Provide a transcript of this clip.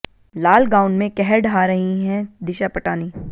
लाल gown में कहर ढहा रही हैं दिशा पटानी